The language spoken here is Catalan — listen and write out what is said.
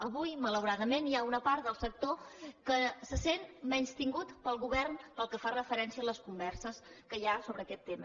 avui malauradament hi ha una part del sector que se sent menystinguda pel govern pel que fa referència a les converses que hi ha sobre aquest tema